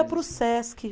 Para o Sesc.